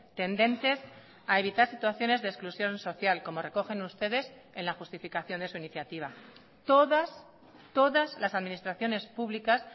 tendentes a evitar situaciones de exclusión social como recogen ustedes en la justificación de su iniciativa todas todas las administraciones públicas